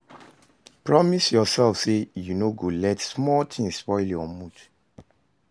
Promise yourself say you no go let small things spoil your mood.